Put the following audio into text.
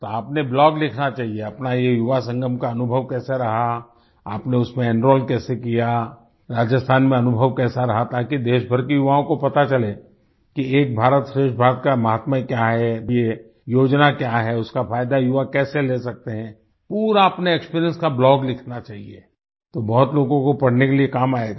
तो आपने ब्लॉग लिखना चाहिए अपना ये युवा संगम का अनुभव कैसा रहा आपने उसमें एनरोल कैसे किया राजस्थान में अनुभव कैसा रहा ताकि देशभर के युवाओं को पता चले कि एक भारत श्रेष्ठ भारत का माहात्मय क्या है ये योजना क्या है उसका फायदा युवक कैसे ले सकते हैं पूरा अपने एक्सपीरियंस का ब्लॉग लिखना चाहिए तो बहुत लोगों को पढ़ने के लिए काम आयेगा